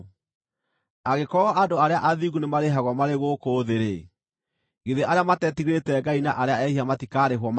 Angĩkorwo andũ arĩa athingu nĩmarĩhagwo marĩ gũkũ thĩ-rĩ, githĩ arĩa matetigĩrĩte Ngai na arĩa ehia matikarĩhwo makĩria!